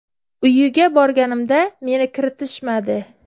Uyiga borganimda meni kiritishmadi.